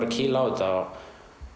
að kýla á þetta